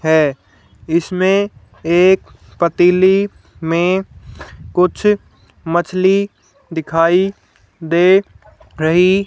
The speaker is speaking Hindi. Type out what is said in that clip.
है इसमें एक पतीली में कुछ मछली दिखाई दे रही--